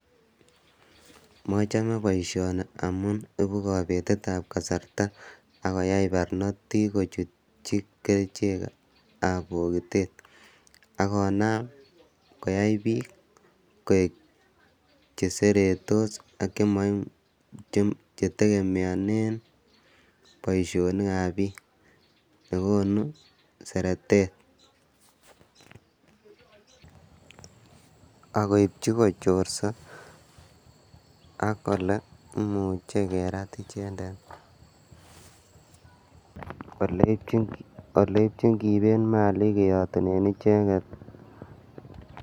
Mochomei boisioni amun ipu kapetetab kasarta ako yae barnotik kochutchi kerichekab pokitet akonam koyai biik koek che seretos ak che tegemeanen boisionikab biik chekonu seretet ako chorsa ako imuchi kerat ichenden, ole iitin kipet malik keatunen icheket.